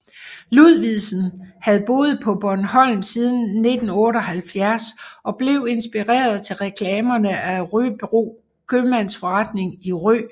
Ludvigsen havde boet på Bornholm siden 1978 og blev inspireret til reklamerne af Røbro Købmandsforretning i Rø